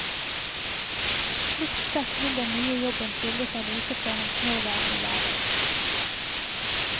Slikt sett vil den nye jobben skille seg lite fra hans nåværende hverdag.